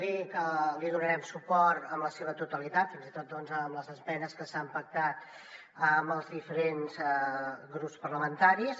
dir que li donarem suport en la seva totalitat fins i tot en les esmenes que s’han pactat amb els diferents grups parlamentaris